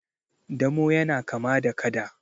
damo yana kama da kada